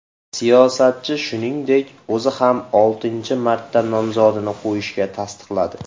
Siyosatchi, shuningdek, o‘zi ham oltinchi marta nomzodini qo‘yishini tasdiqladi.